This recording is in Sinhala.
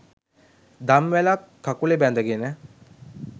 දම්වැලක්‌ කකුලේ බැඳගෙන